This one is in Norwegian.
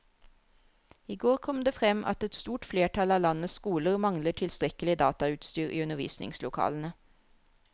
I går kom det frem at et stort flertall av landets skoler mangler tilstrekkelig datautstyr i undervisningslokalene.